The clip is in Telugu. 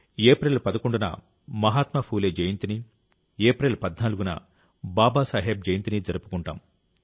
ఏప్రిల్ 11న మహాత్మా ఫూలే జయంతిని ఏప్రిల్ 14న బాబాసాహెబ్ జయంతిని జరుపుకుంటాం